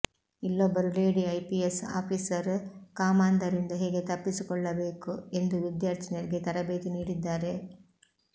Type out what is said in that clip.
ಇಲ್ಲೊಬ್ಬರು lady IPS officer ಕಾಮಾಂಧರಿಂದ ಹೇಗೆ ತಪ್ಪಿಸಿಕೊಳ್ಳಬೇಕು ಎಂದು ವಿದ್ಯಾರ್ಥಿನಿಯರಿಗೆ ತರಬೇತಿ ನೀಡಿದ್ದಾರೆ